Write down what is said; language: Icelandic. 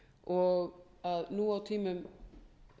og að nú á tímum